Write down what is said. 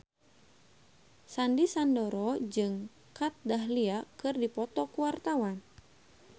Sandy Sandoro jeung Kat Dahlia keur dipoto ku wartawan